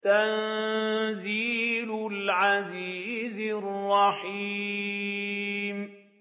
تَنزِيلَ الْعَزِيزِ الرَّحِيمِ